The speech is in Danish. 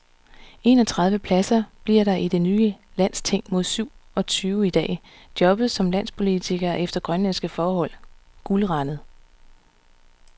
En og tredive pladser bliver der i det nye landsting mod syv og tyve i dag, og jobbet som landspolitiker er efter grønlandske forhold guldrandet.